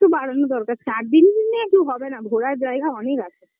একটু বাড়ানো দরকার চার দিনে tour হবে না, ঘোরার জায়গা অনেক আছে